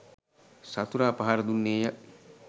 සතුරා පහර දුන්නේය